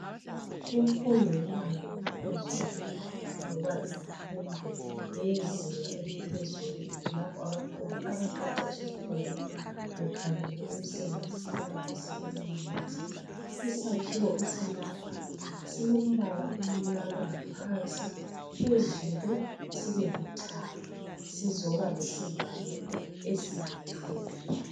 Imfundo yebanga eliphezulu, loba imfundo yezinga eliphezulu. Lapho abafundi abaqeqesha khona, bekhangele imisebenzi, abafisa ukuyenza. Isakhiwo esilapha, silombala omnyama phansi. Phezulu sibe lithanga. Sizoba lesivalo esiluthuli.